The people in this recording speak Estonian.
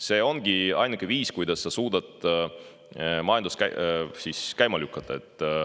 See ongi ainuke viis, kuidas sa suudad majandust käima lükata.